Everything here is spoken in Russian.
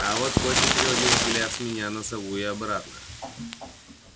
а вот костя переводил взгляд с меня на сову и обратно